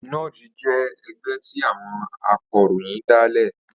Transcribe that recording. NUJ jẹ́ ẹgbẹ́ tí àwọn akọ̀ròyìn dálẹ̀